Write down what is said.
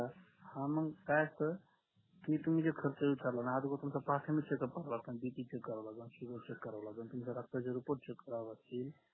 हा मंग काय असतं की तुम्ही जे अगोदर तुमचं pasing check up करावा लागतं आणि बीपी चेक कराव लागेल शुगर चेक कराव लागेल तुमच्या रक्ताचे report चेक करावे लागतील